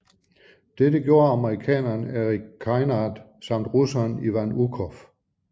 Dette gjorde amerikaneren Erik Kynard samt russeren Ivan Ukhov